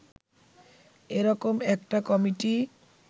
এরকম একটা কমিটি